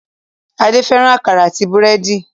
Adé fẹ́ràn àkàrà àti búrẹ́dì.